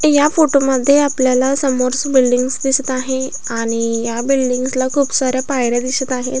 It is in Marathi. या फोटो मध्ये आपल्याला समोर्स बिल्डींग्स दिसत आहे आणि ई या बिल्डींग्स ला खूप साऱ्या पायऱ्या दिसत आहेत.